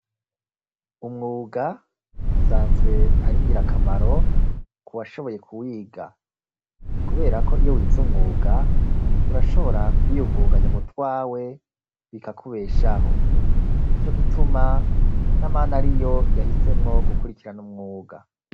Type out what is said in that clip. umwuga usanzwe aringirakamaro ku washoboye kwiga kuberako iyo wize umwuga urashobora kuyiyunguganya mutwawe bikakubeshaho nico gituma n'amana ariyo yahisemwo gukurikira n'umwuga